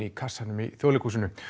í kassanum í Þjóðleikhúsinu